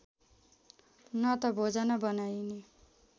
न त भोजन बनाइन्